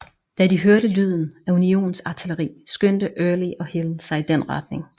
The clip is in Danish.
Da de hørte lyden af unionsartilleri skyndte Early og Hill sig i den retning